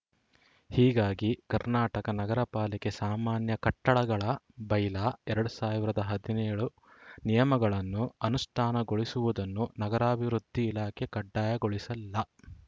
ಹೀಗಾಗಿ ಕರ್ನಾಟಕ ನಗರ ಪಾಲಿಕೆ ಸಾಮಾನ್ಯ ಕಟ್ಟಡಗಳ ಬೈಲಾ ಎರಡ್ ಸಾವಿರದ ಹದಿನೇಳು ನಿಯಮಗಳನ್ನು ಅನುಷ್ಠಾನಗೊಳಿಸುವುದನ್ನು ನಗರಾಭಿವೃದ್ಧಿ ಇಲಾಖೆಯು ಕಡ್ಡಾಯಗೊಳಿಸಿಲ್ಲ